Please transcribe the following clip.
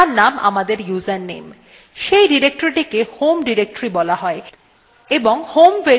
সেই ডিরেক্টরীটিকে home directory বলা হয় এবং home variable তার মান সংরক্ষণ করে